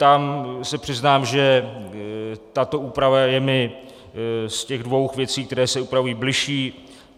Tam se přiznám, že tato úprava je mi z těch dvou věcí, které se upravují, bližší.